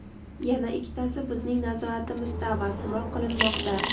yana ikkitasi bizning nazoratimizda va so‘roq qilinmoqda.